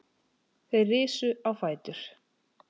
Þeir risu á fætur.